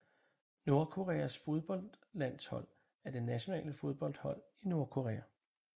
Nordkoreas fodboldlandshold er det nationale fodboldhold i Nordkorea